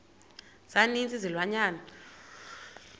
za ninzi izilwanyana